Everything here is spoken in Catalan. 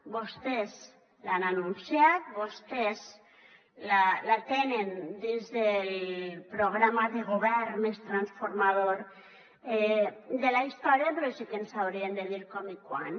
vostès l’han anunciat vostès la tenen dins del programa de govern més transformador de la història però sí que ens haurien de dir com i quan